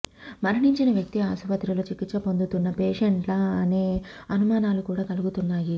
మరణించిన వ్యక్తి ఆసుపత్రిలో చికిత్స పొందుతున్న పేషేంటా అనే అనుమానాలు కూడా కలుగుతున్నాయి